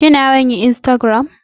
Kina yawan yin insragiram?